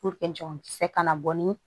jɔ kisɛ kana bɔ ni